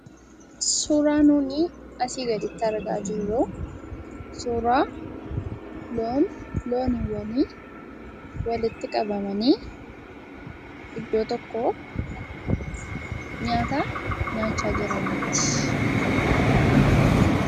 Suuraa nuuni asii gaditti argaa jirru suuraa loowwani walitti qabamanii iddoo tokkoo nyaata nyaachaa jiraniiti.